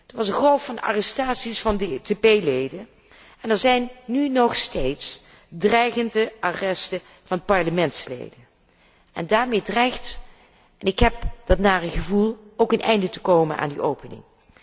Er was een golf van arrestaties van DTP leden en er zijn nu nog steeds dreigende arresten van parlementsleden. Daarmee dreigt en ik heb dat nare gevoel tevens een einde te komen aan die opening.